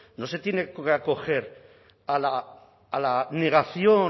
no se tiene que acoger a la negación